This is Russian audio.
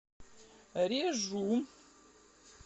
режу